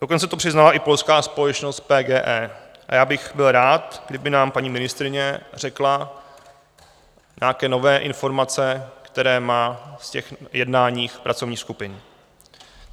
Dokonce to přiznala i polská společnost PGE a já bych byl rád, kdyby nám paní ministryně řekla nějaké nové informace, které má z těch jednání pracovních skupin.